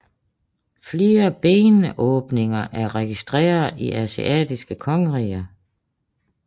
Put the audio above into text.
Flere benådninger er registreret i asiatiske kongeriger